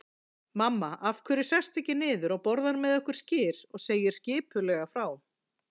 Mamma, af hverju sestu ekki niður og borðar með okkur skyr og segir skipulega frá.